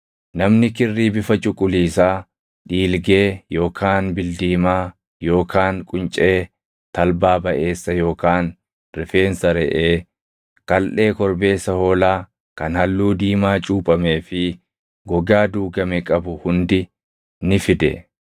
Namni kirrii bifa cuquliisaa, dhiilgee yookaan bildiimaa yookaan quncee talbaa baʼeessa yookaan rifeensa reʼee, kaldhee korbeessa hoolaa kan halluu diimaa cuuphamee fi gogaa duugame qabu hundi ni fide.